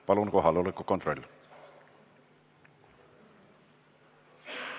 Palun kohaloleku kontroll!